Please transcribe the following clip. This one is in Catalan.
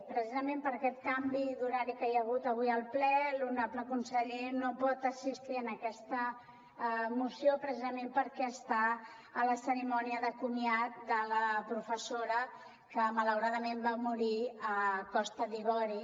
precisament per aquest canvi d’horari que hi ha hagut avui al ple l’honorable conseller no pot assistir en aquesta moció precisament perquè està a la cerimònia de comiat de la professora que malauradament va morir a costa d’ivori